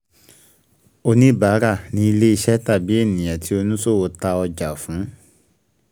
Oníbárà ni ilẹ́-iṣẹ́ tàbí ènìyàn tí oníṣòwò ta ọjà fún.